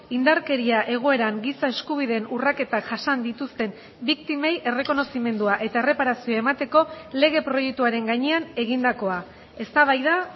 indarkeria egoeran giza eskubideen urraketak jasan dituzten biktimei errekonozimendua eta erreparazioa emateko lege proiektuaren gainean egindakoa eztabaida